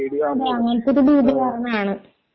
അതേ അതേ അങ്ങനത്തെ ഒരു പേടി കാരണമാണ്